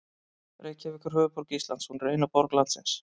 Reykjavík er höfuðborg Íslands. Hún er eina borg landsins.